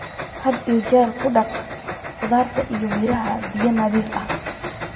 Had iyo jeer ku dhaq khudaarta iyo miraha biyo nadiif ah.